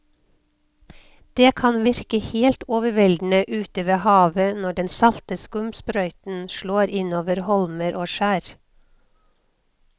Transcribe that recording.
Det kan virke helt overveldende ute ved havet når den salte skumsprøyten slår innover holmer og skjær.